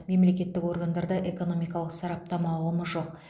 мемлекеттік органдарда экономикалық сараптама ұғымы жоқ